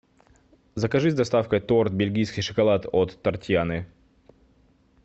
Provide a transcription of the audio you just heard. закажи с доставкой торт бельгийский шоколад от тортьяны